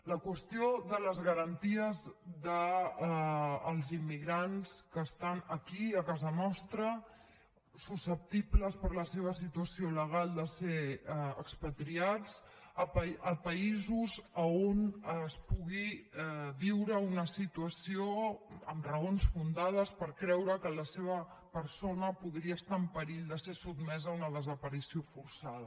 la qüestió de les garanties dels immigrants que estan aquí a casa nostra susceptibles per la seva situació legal de ser expatriats a països on es pugui viure una situació amb raons fundades per creure que la seva persona podria estar en perill de ser sotmesa a una desaparició forçada